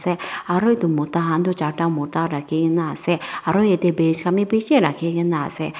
aru edu mota kan toh charta mota rakhikena ase aro yatae bishi rakhikena ase.